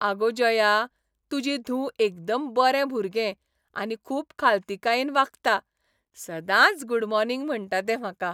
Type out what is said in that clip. आगो जया, तुजी धूव एकदम बरें भुरगें आनी खूब खालतीकायेन वागता. सदांच गूड मॉर्निग म्हणटा तें म्हाका.